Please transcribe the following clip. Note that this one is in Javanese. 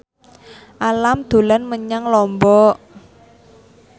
Alam dolan menyang Lombok